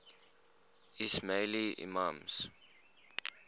ismaili imams